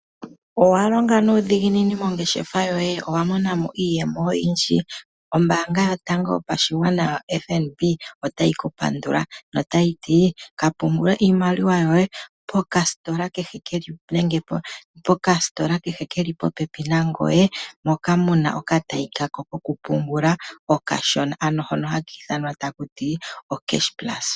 Owa longa nuudhiginini mongeshefa yoye, owa mona mo iiyemo oyindji? Ombaanga yotango yopashigwana FNB otayi ku pandula notayi ti ka pungule iimaliwa yoye pokasitola kehe keli popepi nangoye moka muna okatayi kako kokupungula okashona, ano hono haka ithanwa taku ti okeshe pulasa.